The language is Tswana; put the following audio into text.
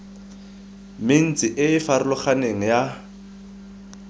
mentsi e e farologaneng ya